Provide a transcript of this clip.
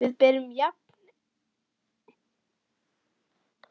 Við berum nákvæmlega jafn mikla ábyrgð á því.